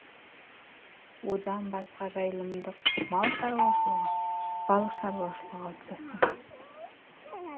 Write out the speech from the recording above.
одан басқа жайылымдық мал шаруашылығы балық шаруашылығы қалыптасқан